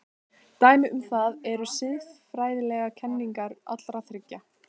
Dæmi um það eru siðfræðilegar kenningar allra þriggja.